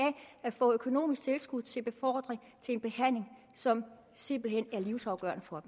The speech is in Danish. at få økonomisk tilskud til befordring til en behandling som simpelt hen er livsafgørende for